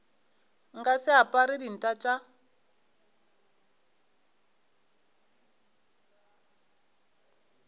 nka se apare dinta tša